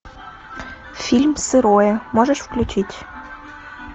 фильм сырое можешь включить